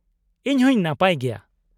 ᱤᱧ ᱦᱚᱸᱧ ᱱᱟᱯᱟᱭ ᱜᱮᱭᱟ ᱾